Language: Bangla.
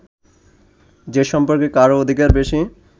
যে সম্পর্কে কারও অধিকার বেশি